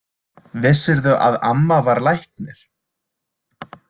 Vissirðu að amma var læknir?